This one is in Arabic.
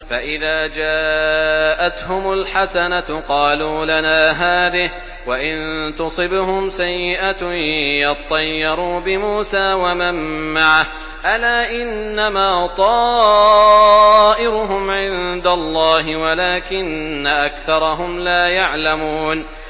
فَإِذَا جَاءَتْهُمُ الْحَسَنَةُ قَالُوا لَنَا هَٰذِهِ ۖ وَإِن تُصِبْهُمْ سَيِّئَةٌ يَطَّيَّرُوا بِمُوسَىٰ وَمَن مَّعَهُ ۗ أَلَا إِنَّمَا طَائِرُهُمْ عِندَ اللَّهِ وَلَٰكِنَّ أَكْثَرَهُمْ لَا يَعْلَمُونَ